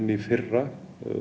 í fyrra